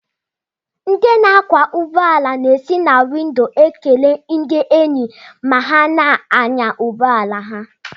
Ndị na-akwọ ụgbọala na-esi na windo agọzi ndi enyi dịka ha na-anya ụgbọ ala ha